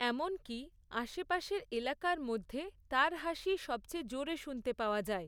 এমনকি, আশেপাশের এলাকার মধ্যে, তার হাসিই সবচেয়ে জোরে শুনতে পাওয়া যায়।